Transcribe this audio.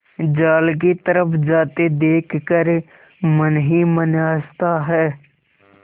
जाल की तरफ जाते देख कर मन ही मन हँसता है